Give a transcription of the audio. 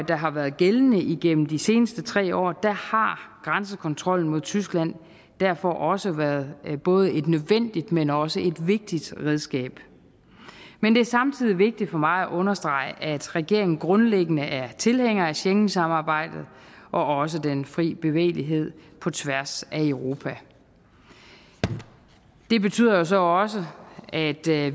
der har været gældende igennem de seneste tre år har grænsekontrollen mod tyskland derfor også været et både nødvendigt men også et vigtigt redskab men det er samtidig vigtigt for mig at understrege at regeringen grundlæggende er tilhænger af schengensamarbejdet og også den fri bevægelighed på tværs af europa det betyder jo så også at